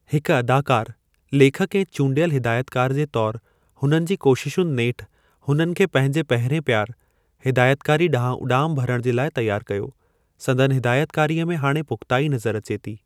हिकु अदाकारु, लेखकु ऐं चूंडियल हिदायतिकार जे तौरु हुननि जी कोशिशुनि नेठि हुननि खे पंहिंजे पहिरिएं प्यार - हिदायतिकारी ॾांहुं उॾाम भरण जे लाइ तयार कयो। संदनि हिदायतकारीअ में हाणे पुख़्ताई नज़र अचे थी।